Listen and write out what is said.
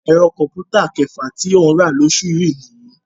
Ẹ̀rọ kọ̀m̀pútà kẹfà tí ó ń rà lóṣù yìí nìyí